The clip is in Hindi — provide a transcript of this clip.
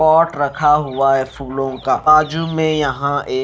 पॉट रखा हुआ है फूलों का आजू में यहां ए--